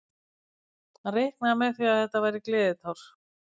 Hann reiknaði með því að þetta væri gleðitár.